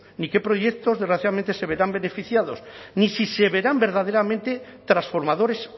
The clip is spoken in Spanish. ni qué proyectos desgraciadamente se verán beneficiados ni si se verán verdaderamente transformadores